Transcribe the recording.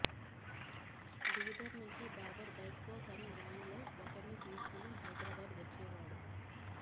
బీదర్ నుంచి బాబర్ బైక్పై తన గ్యాంగ్లో ఒకర్ని తీసుకుని హైదరాబాద్ వచ్చేవాడు